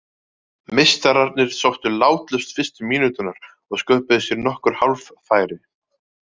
Meistararnir sóttu látlaust fyrstu mínúturnar og sköpuðu sér nokkur hálffæri.